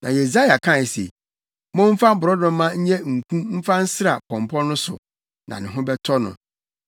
Na Yesaia kae se, “Momfa borɔdɔma nyɛ nku mfa nsra pɔmpɔ no so, na ne ho bɛtɔ no.”